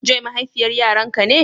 Joy mahaifiyar Yaran ka ne?